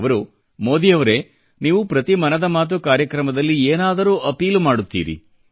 ಅವರು ಮೋದಿಯವರೇ ನೀವು ಪ್ರತಿ ಮನದ ಮಾತು ಕಾರ್ಯಕ್ರಮದಲ್ಲಿ ಏನಾದರೂ ಅಪೀಲು ಮಾಡುತ್ತೀರಿ